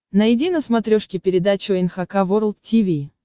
найди на смотрешке передачу эн эйч кей волд ти ви